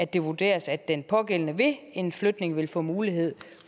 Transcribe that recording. det vurderes at den pågældende ved en flytning vil få mulighed